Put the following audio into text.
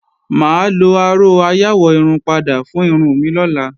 Mà á lo aró ayáwọ̀-irun-padà fún irun mi lọ́la